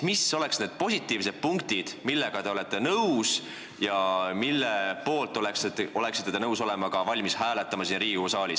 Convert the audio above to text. Mis oleks need positiivsed punktid, millega te olete nõus ja mille poolt oleksite nõus siin Riigikogu saalis hääletama?